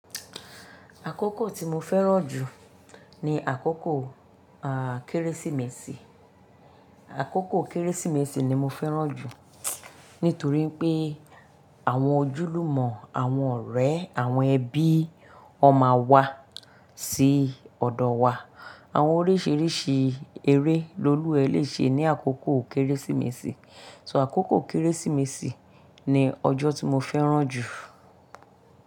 Àkókò tí mo fẹ́ràn jù ni àkókò, à, Kérésìmesì. Àkókò Kérésìmesì ni mo fẹ́ràn jù nítorí pé àwọn ojúlùmọ̀, àwọn ọ̀rẹ́, àwọn ẹbí ọ máa wá sí ọ̀dọ̀ wa. Àwon orísirísi eré ni olúwa lè se mí àkókò kérésìnesì So àkókò Kérésìmesì ni ọjọ́ tí mo fẹ́ràn jù.